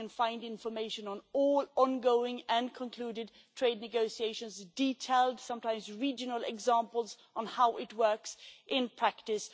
you can now find information on all on-going and concluded trade negotiations and detailed sometimes regional examples of how it works in practice.